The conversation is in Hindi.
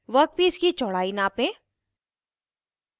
वर्कपीस की चौड़ाई नापें